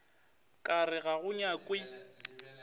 ka re ga go nyakwe